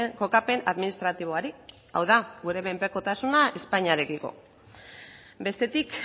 kokapen administratiboari hau da gure menpekotasuna espainiarekiko bestetik